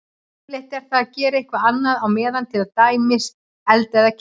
Yfirleitt er það að gera eitthvað annað á meðan, til dæmis elda eða keyra.